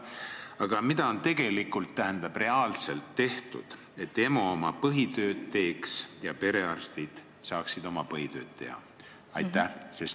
Aga mida on reaalselt tehtud, et EMO oma põhitööd teeks ja perearstid saaksid oma põhitööd teha?